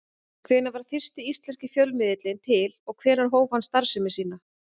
Hvenær varð fyrsti íslenski fjölmiðillinn til og hvenær hóf hann starfsemi sína?